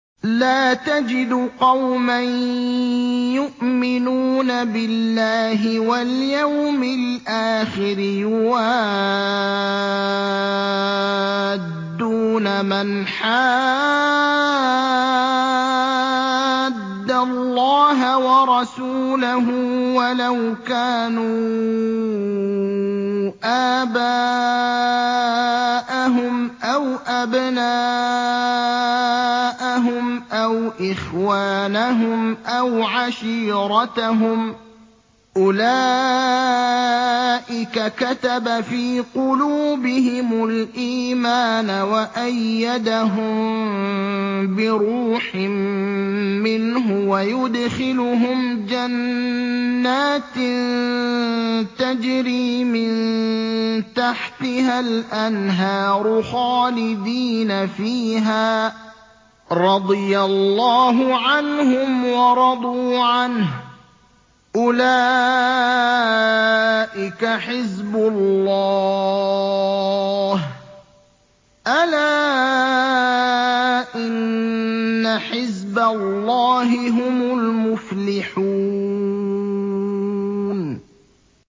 لَّا تَجِدُ قَوْمًا يُؤْمِنُونَ بِاللَّهِ وَالْيَوْمِ الْآخِرِ يُوَادُّونَ مَنْ حَادَّ اللَّهَ وَرَسُولَهُ وَلَوْ كَانُوا آبَاءَهُمْ أَوْ أَبْنَاءَهُمْ أَوْ إِخْوَانَهُمْ أَوْ عَشِيرَتَهُمْ ۚ أُولَٰئِكَ كَتَبَ فِي قُلُوبِهِمُ الْإِيمَانَ وَأَيَّدَهُم بِرُوحٍ مِّنْهُ ۖ وَيُدْخِلُهُمْ جَنَّاتٍ تَجْرِي مِن تَحْتِهَا الْأَنْهَارُ خَالِدِينَ فِيهَا ۚ رَضِيَ اللَّهُ عَنْهُمْ وَرَضُوا عَنْهُ ۚ أُولَٰئِكَ حِزْبُ اللَّهِ ۚ أَلَا إِنَّ حِزْبَ اللَّهِ هُمُ الْمُفْلِحُونَ